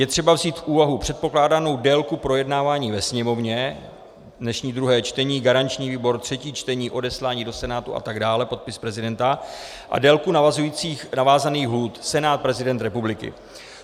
Je třeba vzít v úvahu předpokládanou délku projednávání ve Sněmovně, dnešní druhé čtení, garanční výbor, třetí čtení, odeslání do Senátu a tak dále, podpis prezidenta a délku navázaných lhůt - Senát, prezident republiky.